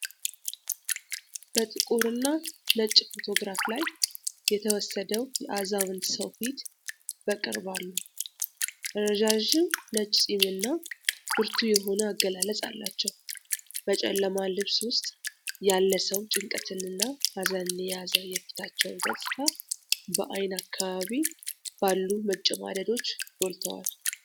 በጥቁርና ነጭ ፎቶግራፍ ላይ የተወሰደው የአዛውንት ሰው ፊት በቅርብ አሉ። ረዣዥም ነጭ ፂም እና ብርቱ የሆነ አገላለጽ አላቸው። በጨለማ ልብስ ውስጥ ያለ ሰው ጭንቀትንና ሀዘንን የያዘ የፊታቸው ገፅታ በዓይን አካባቢ ባሉ መጨማደዶች ጎልቶዋል።